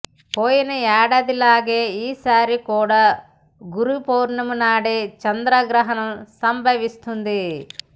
పోయిన ఏడాదిలాగే ఈ సారి కూడా గురు పూర్ణిమనాడే చంద్రగ్రహణం సంభవిస్తోంది